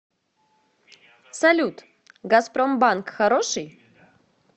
салют газпромбанк хороший